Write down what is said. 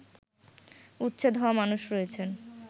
উচ্ছেদ হওয়া মানুষ রয়েছেন